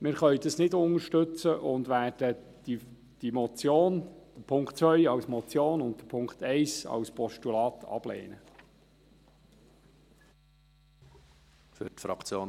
Wir können das nicht unterstützen und werden Punkt 1 als Motion und Punkt 2 als Postulat ablehnen.